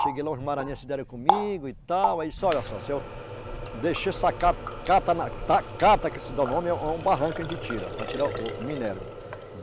Cheguei lá, os maranhenses deram comigo e tal... Olha só, que se dá o nome, é um é um barranco tira, para tirar o minério.